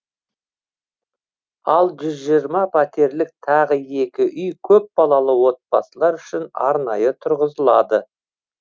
ал жүз жиырма пәтерлік тағы екі үй көпбалалы отбасылар үшін арнайы тұрғызылады